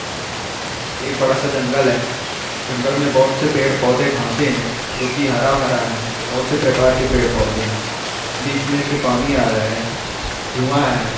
एक बड़ा सा जंगल है जंगल में बहुत से पड़े पौधे घासे है जो की हरा भरा है बहुत से प्रकार पड़े पोधे है बिच में से पानी आ रहा है धुआ है।